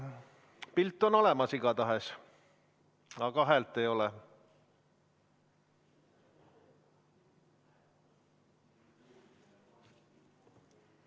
Pilt on olemas igatahes, aga häält ei ole.